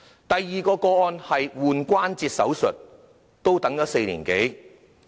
第二宗個案是關節置換手術，也等了4年多。